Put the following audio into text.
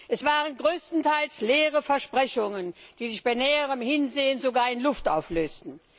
Es waren größtenteils leere Versprechungen, die sich bei näherem Hinsehen in Luft auflösten.